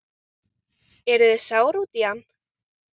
Eruð þið sár út í hann?